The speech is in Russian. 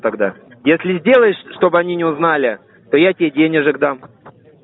тогда если сделаешь чтобы они не узнали то я тебе денежек дам